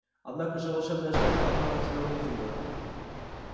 однако же волшебная шляпа направила тебя в гриффиндор